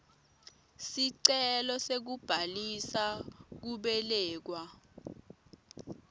sicelo sekubhalisa kubelekwa